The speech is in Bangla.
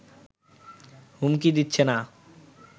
হুমকি দিচ্ছে না